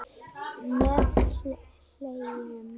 Með hléum.